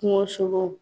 Kungosogo